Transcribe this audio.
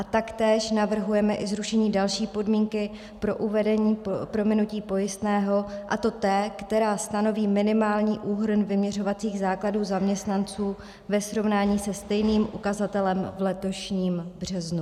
A taktéž navrhujeme i zrušení další podmínky pro uvedení prominutí pojistného, a to té, která stanoví minimální úhrn vyměřovacích základů zaměstnanců ve srovnání se stejným ukazatelem v letošním březnu.